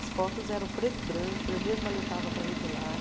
As fotos eram preto e branco, eu mesma levava para revelar.